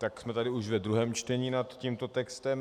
Tak jsme tady už ve druhém čtení nad tímto textem.